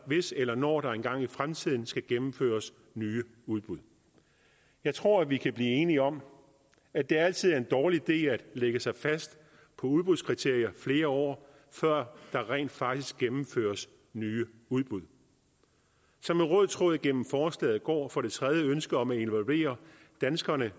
hvis eller når der engang i fremtiden skal gennemføres nye udbud jeg tror at vi kan blive enige om at det altid er en dårlig idé at lægge sig fast på udbudskriterier flere år før der rent faktisk gennemføres nye udbud som en rød tråd gennem forslaget går for det tredje ønsket om at involvere danskerne